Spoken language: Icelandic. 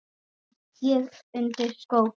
bind ég undir skó